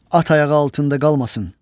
At ayağı altında qalmasın.